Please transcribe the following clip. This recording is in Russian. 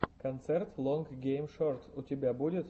концерт лонг гейм шорт у тебя будет